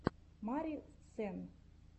мари сенн